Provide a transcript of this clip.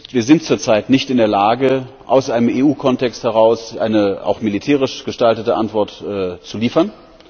Wir sind zurzeit nicht in der Lage, aus einem EU Kontext heraus eine auch militärisch gestaltete Antwort zu liefern.